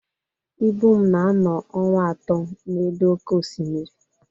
Ibum na-anọ ọnwa atọ n'elu oké osimiri